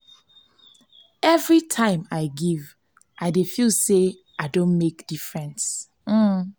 every time i give i dey feel say i don make difference.